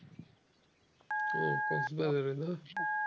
ও কক্সবাজারে না ।